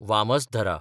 Vamsadhara